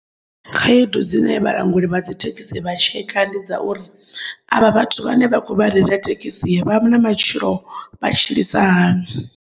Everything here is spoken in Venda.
Khaedu dzine vhalanguli vha dzithekhisi vha tsheka ndi dza uri, avha vhathu vhane vhakho vha reila thekisi vhana matshilo vha tshilisa hani.